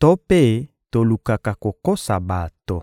to mpe tolukaka kokosa bato.